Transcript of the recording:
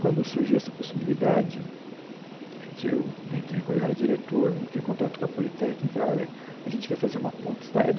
Quando surgiu essa possibilidade, a gente eu eu entrei quando eu era Diretor, entrei em contato com a Politecnica e falei, olha, a gente quer fazer uma ponte estaiada.